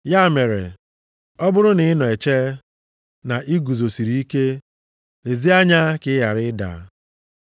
Ya mere, ọ bụrụ na ị na-eche na ị guzosiri ike, lezie anya ka ị ghara ịda.